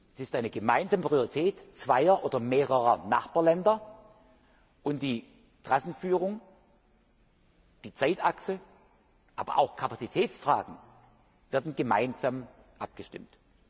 Es ist eine gemeinsame Priorität zweier oder mehrerer Nachbarländer, und die Trassenführung, die Zeitachse, aber auch Kapazitätsfragen werden gemeinsam abgestimmt.